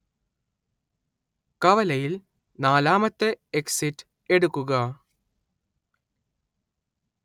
കവലയിൽ നാലാമത്തെ എക്സിറ്റ് എടുക്കുക